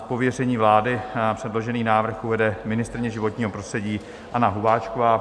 Z pověření vlády předložený návrh uvede ministryně životního prostředí Anna Hubáčková.